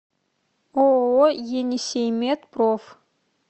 ооо енисеймед проф